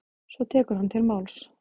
Svo tekur hann til máls: